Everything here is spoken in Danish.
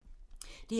DR1